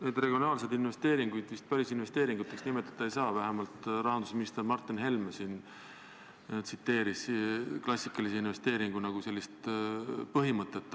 Neid regionaalseid investeeringuid vist päris investeeringuteks nimetada ei saa, vähemalt rahandusminister Martin Helme siin tsiteeris sellist klassikalise investeeringu põhimõtet.